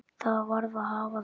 Það varð að hafa það.